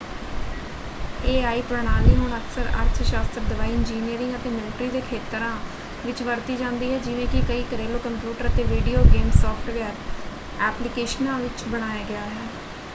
AI. ਪ੍ਰਣਾਲੀ ਹੁਣ ਅਕਸਰ ਅਰਥ ਸ਼ਾਸਤਰ ਦਵਾਈ ਇੰਜੀਨੀਅਰਿੰਗ ਅਤੇ ਮਿਲਟਰੀ ਦੇ ਖੇਤਰਾਂ ਵਿੱਚ ਵਰਤੀ ਜਾਂਦੀ ਹੈ ਜਿਵੇਂ ਕਿ ਕਈ ਘਰੇਲੂ ਕੰਪਿਊਟਰ ਅਤੇ ਵੀਡੀਓ ਗੇਮ ਸੌਫ਼ਟਵੇਅਰ ਐਪਲੀਕੇਸ਼ਨਾਂ ਵਿੱਚ ਬਣਾਇਆ ਗਿਆ ਹੈ।